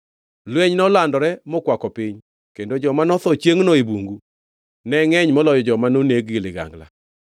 Lweny nolandore mokwako piny, kendo joma notho chiengʼno e bungu ne ngʼeny moloyo joma noneg gi ligangla.